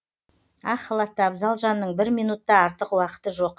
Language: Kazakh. ақ халатты абзал жанның бір минут та артық уақыты жоқ